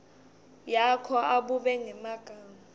yakho abube ngemagama